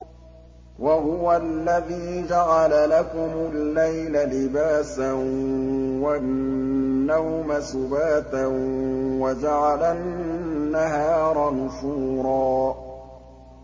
وَهُوَ الَّذِي جَعَلَ لَكُمُ اللَّيْلَ لِبَاسًا وَالنَّوْمَ سُبَاتًا وَجَعَلَ النَّهَارَ نُشُورًا